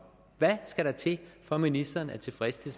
hvad skal der til for at ministeren er tilfreds det